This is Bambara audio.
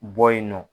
Bɔ yen nɔ